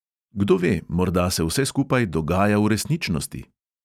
Kdo ve, morda se vse skupaj dogaja v resničnosti?